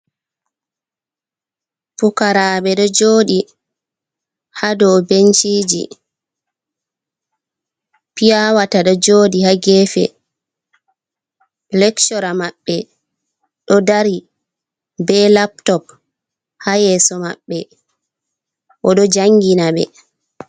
Puukaraɓe ɗo jooɗi ha dou benciji, piyawata ɗo jooɗi ha geefe, lekshora maɓɓe ɗo dari be laptop ha yeeso maɓɓe oɗo janginaɓe.